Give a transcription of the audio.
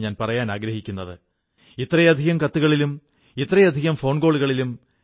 നമ്മുടെ പല പ്രാദേശിക ഉത്പന്നങ്ങൾക്കും ആഗോളതലത്തിലേക്കെത്താനുള്ള കഴിവുണ്ട്